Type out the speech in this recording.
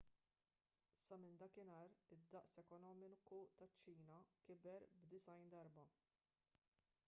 sa minn dakinhar id-daqs ekonomiku taċ-ċina kiber b’90 darba